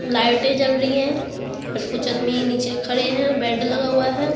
लाइटें जल रही है और कुछ अदमी नीचे खड़े है बेड लगा हुआ है।